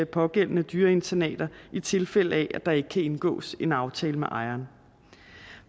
pågældende dyreinternater i tilfælde af at der ikke kan indgås en aftale med ejeren